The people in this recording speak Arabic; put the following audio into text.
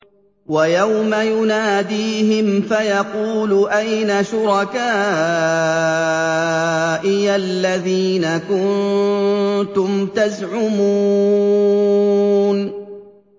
وَيَوْمَ يُنَادِيهِمْ فَيَقُولُ أَيْنَ شُرَكَائِيَ الَّذِينَ كُنتُمْ تَزْعُمُونَ